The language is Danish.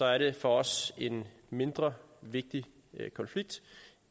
er det for os en mindre vigtig konflikt